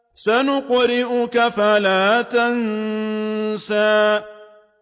سَنُقْرِئُكَ فَلَا تَنسَىٰ